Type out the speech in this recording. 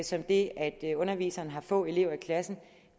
som det at underviseren har få elever i klassen